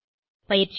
பயிற்சியாக 1